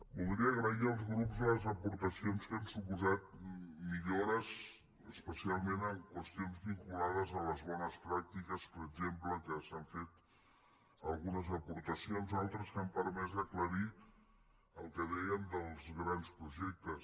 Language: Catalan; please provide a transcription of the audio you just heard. voldria agrair als grups les aportacions que han suposat millores especialment en qüestions vinculades a les bones pràctiques per exemple que s’hi han fet algunes aportacions altres que han permès aclarir el que dèiem dels grans projectes